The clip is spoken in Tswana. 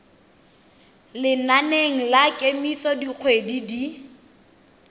lenaneng la kemiso dikgwedi di